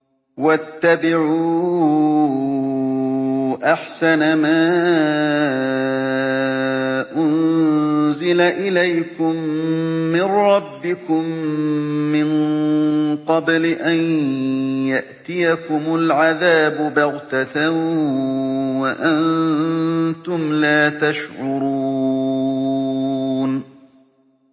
وَاتَّبِعُوا أَحْسَنَ مَا أُنزِلَ إِلَيْكُم مِّن رَّبِّكُم مِّن قَبْلِ أَن يَأْتِيَكُمُ الْعَذَابُ بَغْتَةً وَأَنتُمْ لَا تَشْعُرُونَ